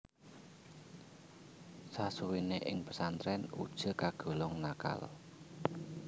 Sasuwene ing pesantren Uje kagolong nakal